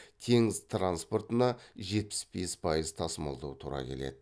теңіз транспортына жетпіс бес пайыз тасымалдау тура келеді